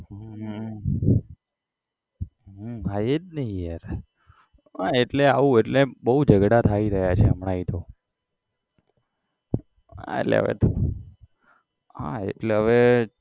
હમ હમ ભાઈ એજ ને યાર, હા આવું એટલે આવું બહુ ઝગડા થઇ રહ્યા છે હમણાંથી તો હા એટલે હવે હા એટલે હવે